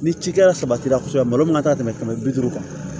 Ni cikɛla sabatira malo mana ka tɛmɛ kɛmɛ bi duuru kan